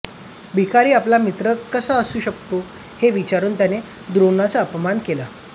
भिकारी आपला मित्र कसा असू शकतो हे विचारून त्याने द्रोणाचा अपमान केला